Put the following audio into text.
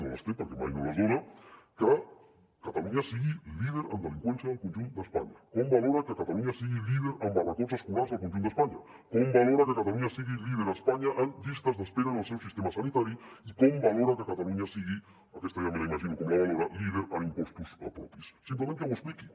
no les té perquè mai no les dona que catalunya sigui líder en delinqüència al conjunt d’espanya com valora que catalunya sigui líder en barracots escolars al conjunt d’espanya com valora que catalunya sigui líder a espanya en llistes d’espera en el seu sistema sanitari i com valora que catalunya sigui aquesta ja m’imagino com la valora líder en impostos propis simplement que ho expliqui